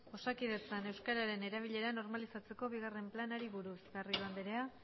osakidetzan euskaren erabilera normalizatzeko bigarren planari buruz garrido andrea